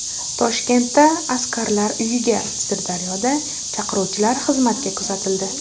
Toshkentda askarlar uyiga, Sirdaryoda chaqiruvchilar xizmatga kuzatildi .